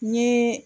Ni